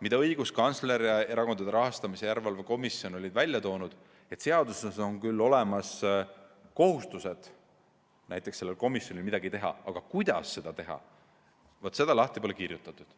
mida õiguskantsler ja Erakondade Rahastamise Järelevalve Komisjon olid välja toonud: et seaduses on küll olemas kohustused sellel komisjonil midagi teha, aga kuidas seda teha, seda pole lahti kirjutatud.